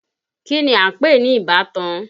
Kí ni à ń pè ní ìbátan?